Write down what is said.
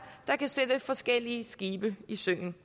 der kan sætte forskellige skibe i søen